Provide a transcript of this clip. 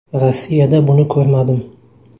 Rossiyada buni ko‘rmadim”.